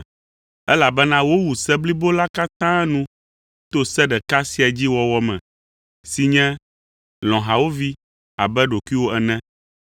Elabena wowu se blibo la katã nu to se ɖeka sia dzi wɔwɔ me, si nye, “Lɔ̃ hawòvi abe ɖokuiwò ene.”